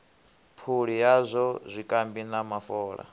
phuli yazwo zwikambi na mafola